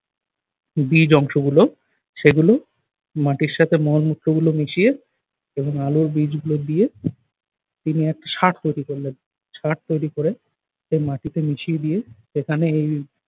বীজ অংশগুলো সেগুলো মাটির সাথে মলমূত্র গুলো মিশিয়ে এবং আলুর বীজগুলো দিয়ে তিনি একটা সার তৈরি করলেন সার তৈরি করে then মাটিতে মিশিয়ে দিয়ে এখানে এই